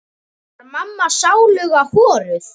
Var mamma sáluga horuð?